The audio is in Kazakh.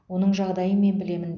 оның жағдайын мен білемін